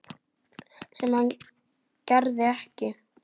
Sem það gerði ekki.